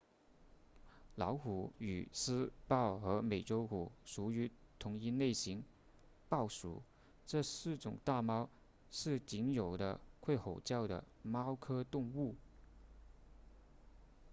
老虎与狮豹和美洲虎属于同一类型豹属这四种大猫是仅有的会吼叫的猫科动物